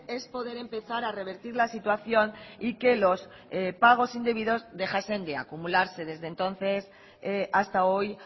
es poder empezar a revertir la situación y que los pagos indebidos dejasen de acumularse desde entonces hasta hoy